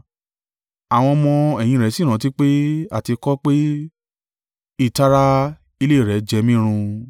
Àwọn ọmọ-ẹ̀yìn rẹ̀ sì rántí pé, a ti kọ ọ́ pé, “Ìtara ilé rẹ jẹ mí run.”